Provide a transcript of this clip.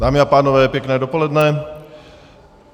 Dámy a pánové, pěkné dopoledne.